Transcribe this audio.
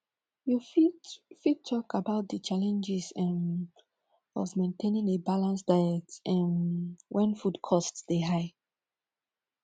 you fit fit talk about di challenges um of maintaining a balanced diet um when food costs dey high